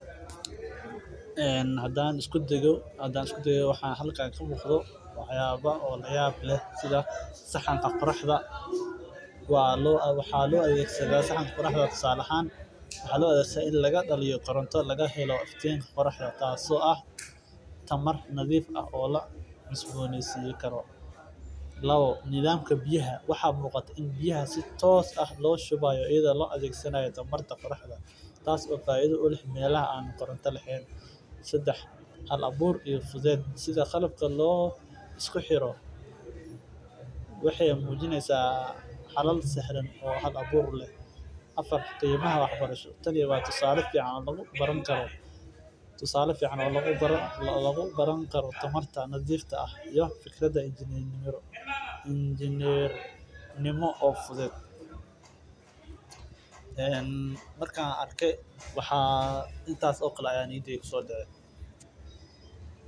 Hadaan isku dayo waxa halkan kasocdo wax yaaba layaab leh sida saxanka qoraxda oo laga daliyo tamar waxaa muuqata in biyaha si toos ah looga shubaayo waxeey mujineysa wax yar tusaale badan oo lagu daro tanarta nadiifka ah iyo fikrada fudeed markaan arke intaas ayaa niyadeeda kusoo dacay.